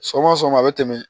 Sɔgɔma sɔgɔma a be tɛmɛ